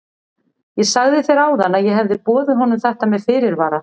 Ég sagði þér áðan að ég hefði boðið honum þetta með fyrirvara.